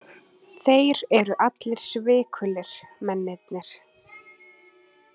Þeir eru allir svikulir, mennirnir.